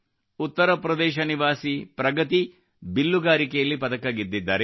ಉತ್ತರಪ್ರದೇಶ ನಿವಾಸಿ ಪ್ರಗತಿ ಬಿಲ್ಲಗಾರಿಕೆಯಲ್ಲಿ ಪದಕ ಗೆದ್ದಿದ್ದಾರೆ